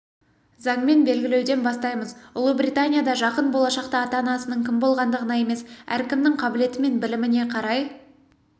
заңмен белгілеуден бастаймыз ұлыбританияда жақын болашақта ата-анасының кім болғандығына емес әркімнің қабілеті мен біліміне қарай